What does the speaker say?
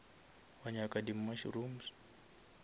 wa nyaka di mushrooms